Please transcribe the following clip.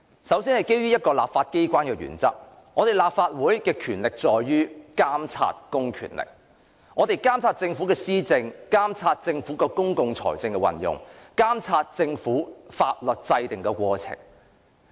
首先，基於立法機關的原則，立法會的職權在於監察公權力的運用，監察政府的施政、公共財政的運用及法律制訂的過程。